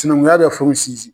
Sinankunya bɛ fɛnw sinsin.